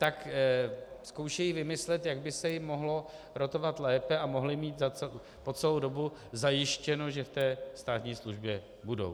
Tak zkoušejí vymyslet, jak by se jim mohlo rotovat lépe a mohli mít po celou dobu zajištěno, že v té státní službě budou.